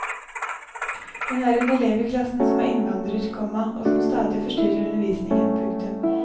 Hun har en elev i klassen som er innvandrer, komma og som stadig forstyrrer undervisningen. punktum